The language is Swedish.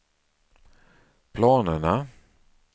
planerna